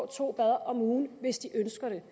to gange om ugen hvis de ønsker det